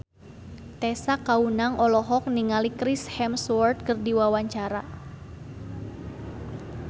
Tessa Kaunang olohok ningali Chris Hemsworth keur diwawancara